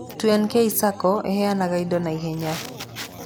2nk Sacco ĩheanaga indo na ihenya.